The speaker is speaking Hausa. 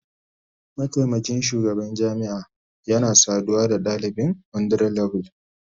Mataimakin shugaban jami'a yana saduwa da dalibi 100level